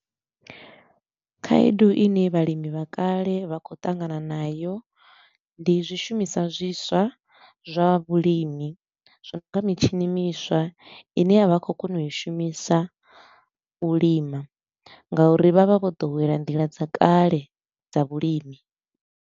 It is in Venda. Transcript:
Khaedu i ne vhalimi vha kale vha khou ṱangana nayo ndi zwishumiswa zwiswa zwa vhulimi, zwa u nga mitshini miswa i ne a vha khou kona u i shumisa u lima nga uri vha vha vho ḓowela nḓila dza kale dza vhulimi.